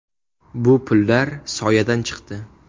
Bu pullar soyadan chiqdi.